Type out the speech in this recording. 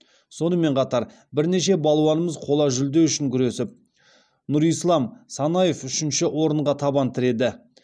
сонымен қатар бірнеше балуанымыз қола жүлде үшін күресіп нұрислам санаев үшінші орынға табан тіреді